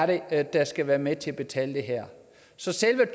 det er der skal være med til at betale det her så selve